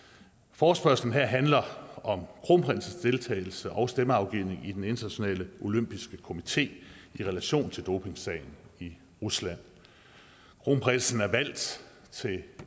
forespørgslen her handler om kronprinsens deltagelse og stemmeafgivning i den internationale olympiske komité i relation til dopingsagen i rusland kronprinsen er valgt til